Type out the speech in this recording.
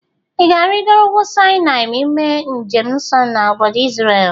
Ị ga-arigoro ugwu Sinai ma ime njem nso na obodo Izrel?